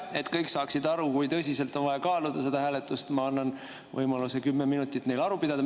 Et kõik saaksid aru, kui tõsiselt on vaja kaaluda seda hääletust, annan ma neile võimaluse kümme minutit aru pidada.